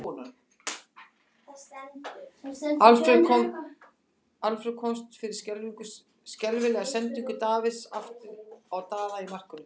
Alfreð komst fyrir skelfilega sendingu Davíðs aftur á Daða í markinu.